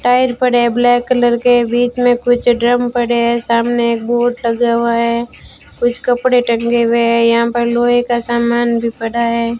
Tyre पड़े है black colour के बीच में कुछ ड्रम पड़े हैं सामने एक बोर्ड लगा हुआ है कुछ कपड़े टंगे हुए हैं यहां पर लोहे का सामान भी पड़ा है।